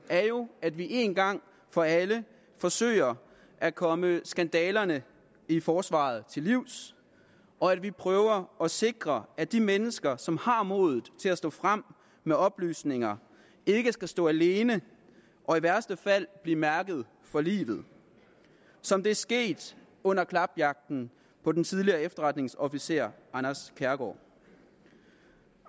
er jo at vi en gang for alle forsøger at komme skandalerne i forsvaret til livs og at vi prøver at sikre at de mennesker som har modet til at stå frem med oplysninger ikke skal stå alene og i værste fald blive mærket for livet som det er sket under klapjagten på den tidligere efterretningsofficer anders kærgaard